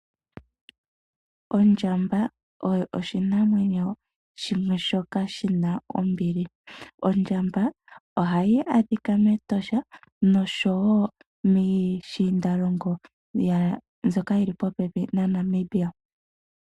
Ondjamba oyo oshinamwenyo shimwe shoka shi na ombili. Ondjamba ohayi adhika mEtosha nosho wo miishiindalongo mbyoka yi li popepi naNamibia.